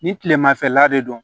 Ni tilemafɛla de don